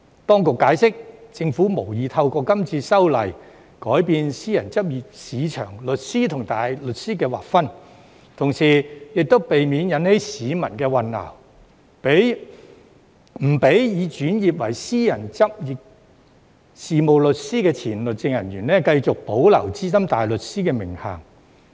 當局解釋，政府無意透過今次修例改變私人執業市場上律師與大律師的劃分，同時為避免引起市民混淆，不容許已轉為私人執業事務律師的前律政人員繼續保留資深大律師的名銜。